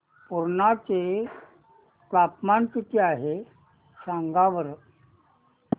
पुर्णा चे तापमान किती आहे सांगा बरं